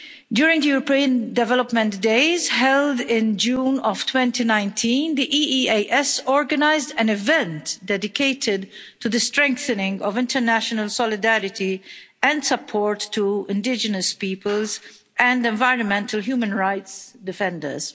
During the European Development Days held in June of 2019, the EEAS organised an event dedicated to the strengthening of international solidarity and support to indigenous peoples and environmental human rights defenders.